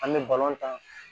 An bɛ ta